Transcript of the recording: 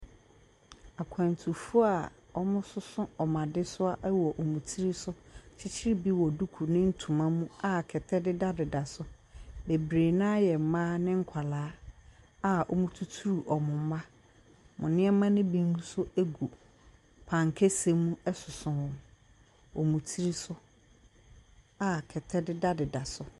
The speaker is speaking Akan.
Akwantufo a wɔsoso wɔn adesoa wɔ wɔn ti so kyekyere bi wɔ duku ne ntoma mu a kɛtɛ dedadeda so. Bebree no ara yɛ mmaa ne nkwadaa a wɔtuturu wɔn mma. Wɔn nneɛma ne bi nso gu pan kɛseɛ mu soso wɔn wɔ wɔn tiri so a kɛtɛ dedadeda so.